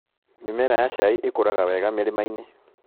Mĩmera ya cai ĩkũraga wega mĩrĩmainĩ.